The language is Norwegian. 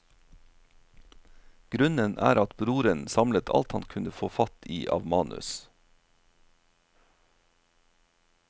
Grunnen er at broren samlet alt han kunne få fatt i av manus.